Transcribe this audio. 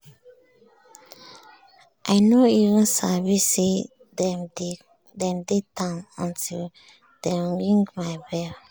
i nor even sabi say dem dey town until dem ring my bell.